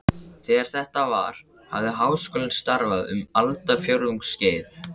Þegar þetta var, hafði Háskólinn starfað um aldarfjórðungs skeið.